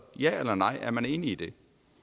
ja eller nej er man enig i det